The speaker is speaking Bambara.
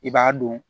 I b'a dɔn